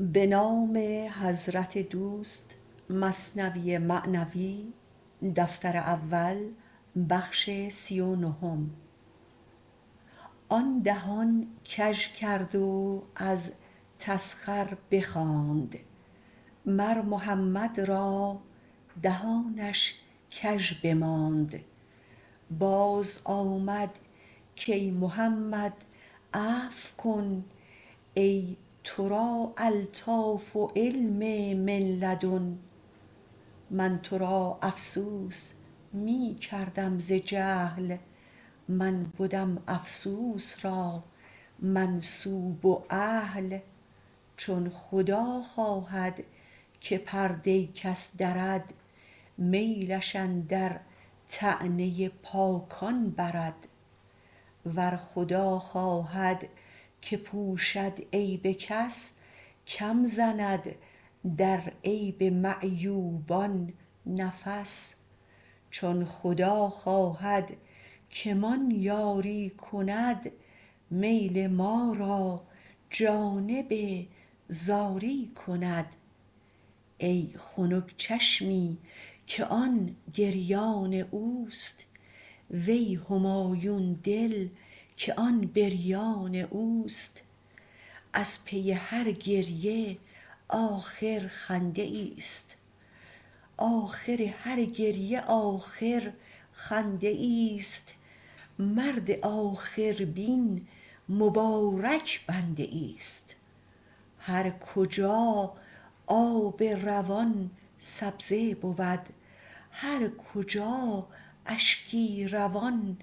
آن دهان کژ کرد و از تسخر بخواند مر محمد را دهانش کژ بماند باز آمد کای محمد عفو کن ای ترا الطاف و علم من لدن من ترا افسوس می کردم ز جهل من بدم افسوس را منسوب و اهل چون خدا خواهد که پرده کس درد میلش اندر طعنه پاکان برد ور خدا خواهد که پوشد عیب کس کم زند در عیب معیوبان نفس چون خدا خواهد که مان یاری کند میل ما را جانب زاری کند ای خنک چشمی که آن گریان اوست وی همایون دل که آن بریان اوست آخر هر گریه آخر خنده ایست مرد آخر بین مبارک بنده ایست هر کجا آب روان سبزه بود هر کجا اشکی روان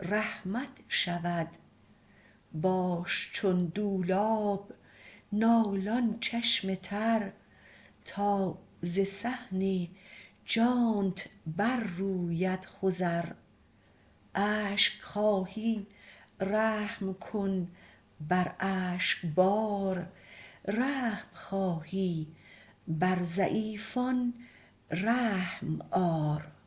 رحمت شود باش چون دولاب نالان چشم تر تا ز صحن جانت بر روید خضر اشک خواهی رحم کن بر اشک بار رحم خواهی بر ضعیفان رحم آر